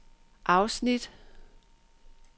afsnit